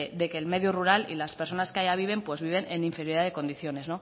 de que el medio rural y las personas que allá viven pues viven en inferioridad de condiciones